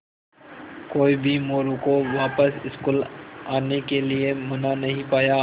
कोई भी मोरू को वापस स्कूल आने के लिये मना नहीं पाया